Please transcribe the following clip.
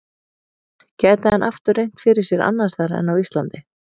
Gæti hann aftur reynt fyrir sér annars staðar en á Íslandi?